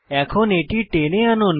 এখন এটি টেনে আনুন